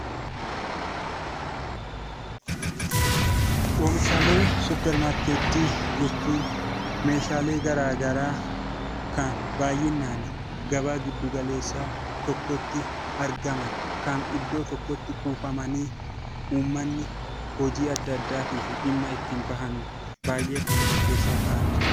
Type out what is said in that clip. Oomishaalee suupparmaarkeetii jechuun meeshaalee garaagaraa kan baay'inaan gabaa giddu galeessaa kan argaman kan iddoo tokkotti argamanii uummanni hojii adda addaatiif dhimma adda addaatiif dhimma itti bahan baay'ee murteessaa kan ta'anidha.